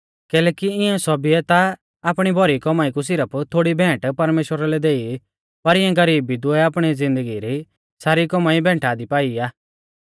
कैलैकि इऊं सौभीयै ता आपणी भौरी कौमाई कु सिरफ थोड़ी भेंट परमेश्‍वरा लै देई पर इऐं गरीब विधवै आपणी ज़िन्दगी री सारी कौमाई भैंटा दी पाई आ